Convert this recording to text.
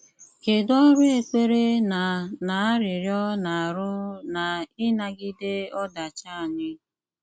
Kédú ọrụ ékpèrè ná ná árịríọ́ na-arụ ná ínágídè ódàchí ányị́?